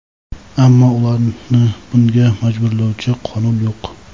ammo ularni bunga majburlovchi qonun yo‘q.